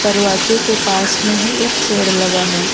दरवाजे के पास में ही एक पेड़ लगा है।